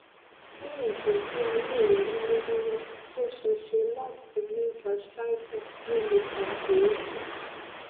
ni igbesi aye re lowolowo o sese lati ni gastritis ti o le fa eebi